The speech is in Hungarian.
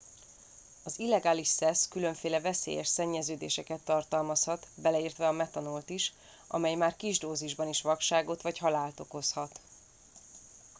az illegális szesz különféle veszélyes szennyeződéseket tartalmazhat beleértve a metanolt is amely már kis dózisban is vakságot vagy halált okozhat